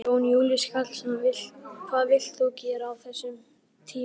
Jón Júlíus Karlsson: Hvað vilt þú gera á þessum tímapunkti?